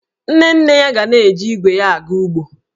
Nne nne ya ga na-eji igwe ya aga ugbo